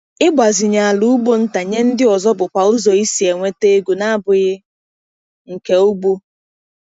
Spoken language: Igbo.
Ịgbazinye ala ugbo nta nye ndị ọzọ bụkwa ụzọ isi nweta ego na-abụghị nke ugbo.